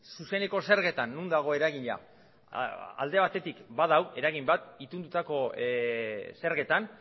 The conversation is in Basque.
zuzeneko zergetan non dago eragilea alde batetik badago eragin bat itunetako zergetan